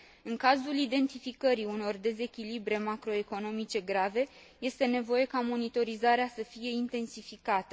În cazul identificării unor dezechilibre macroeconomice grave, este nevoie ca monitorizarea să fie intensificată.